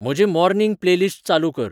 म्हजे morning playlist चालू कर